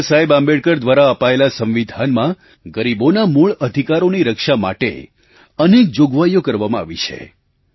બાબાસાહેબ આંબેડકર દ્વારા અપાયેલા સંવિધાનમાં ગરીબોના મૂળ અધિકારોની રક્ષા માટે અનેક જોગવાઈઓ આપવામાં આવી છે